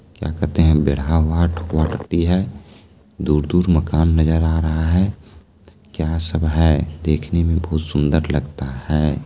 क्या कहते हैं बेढ़ा वाट है। दूर-दूर मकान नजर आ रहा है। क्या सब है देखने में बहुत सुन्दर लगता है।